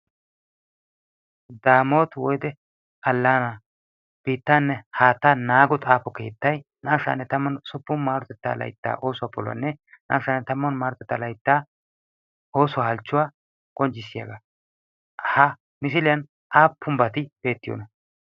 damooti woyde allaana bittaanne haattaa naago xaafo keettai naashshaanne tamman suppun maarotetta laitta oosuwaa poluwaanne naashaanne tamman maarotettaa laittaa oosuwaa halchchuwaa qonccissiyaagaa ha misiiliyan aappum bati beettiyoona?